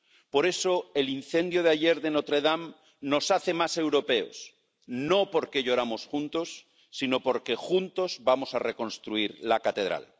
Por eso, el incendio de ayer de Notre Dame nos hace más europeos no porque lloramos juntos, sino porque juntos vamos a reconstruir la catedral.